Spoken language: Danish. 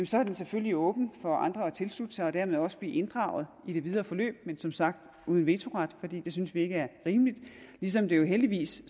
så er det selvfølgelig åbent for andre at tilslutte sig og dermed også blive inddraget i det videre forløb men som sagt uden vetoret for det synes vi ikke er rimeligt ligesom det jo heldigvis